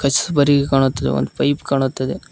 ಚಬ್ಬರಿ ಕಾಣುತ್ತದೆ ಒಂದು ಪೈಪ್ ಕಾಣುತ್ತಿದೆ.